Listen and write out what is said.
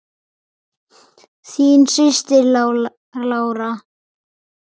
Þín systir, Lára.